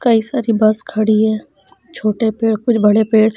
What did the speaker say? कई सारी बस खड़ी है छोटे पेड़ कुछ बड़े पेड़--